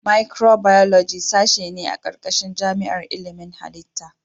Micibiyoloji sashe ne a ƙarƙashin jami'ar ilimin halitta.